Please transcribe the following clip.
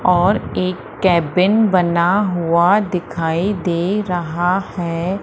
और एक केबिन बना हुआ दिखाई दे रहा है।